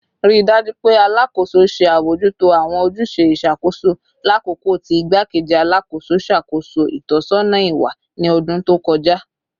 Rii daju pe Alakoso ṣe abojuto awọn ojuse iṣakoso lakoko ti Igbakeji Alakoso ṣakoso itọsọna iwa ni ọdun to kọja